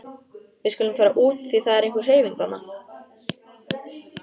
Við skulum fara út því það er einhver hreyfing þarna.